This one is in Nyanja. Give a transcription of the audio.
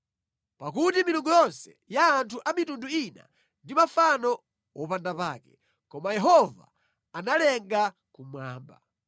Pakuti milungu yonse ya anthu a mitundu ina ndi mafano wopanda pake, koma Yehova analenga kumwamba.